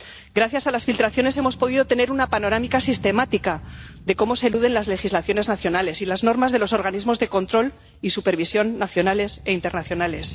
Gracias a las filtraciones hemos podido tener una panorámica sistemática de cómo se eluden las legislaciones nacionales y las normas de los organismos de control y supervisión nacionales e internacionales